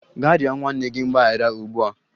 Gaa rịọ nwanne gị mgbaghara ugbu a!